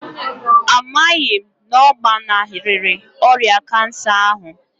A maghị m na ọ gbanarịrị ọrịa kansa ahụ